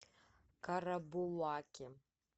карабулаке